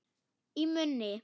Í munni